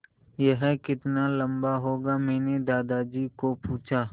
यह कितना लम्बा होगा मैने दादाजी को पूछा